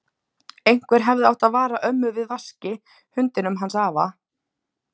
Einhver hefði átt að vara ömmu við Vaski, hundinum hans afa.